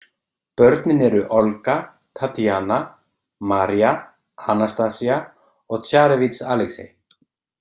Börnin eru Olga, Tatíana, María, Anastasía og Tsarevíts Alexei.